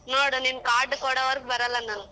ನೋಡು ನೀನ್ card ಕೊಡೋವರ್ಗು ಬರಲ್ಲ ನಾನ್.